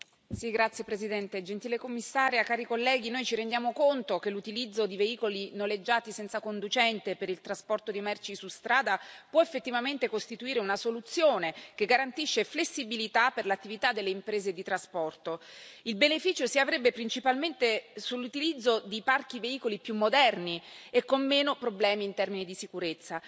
Signora Presidente, onorevoli colleghi, gentile Commissaria, noi ci rendiamo conto che l'utilizzo di veicoli noleggiati senza conducente per il trasporto di merci su strada può effettivamente costituire una soluzione che garantisce flessibilità per l'attività delle imprese di trasporto. Il beneficio si avrebbe principalmente sull'utilizzo di parchi veicoli più moderni e con meno problemi in termini di sicurezza.